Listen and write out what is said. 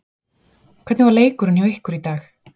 Hvernig var leikurinn hjá ykkur í dag?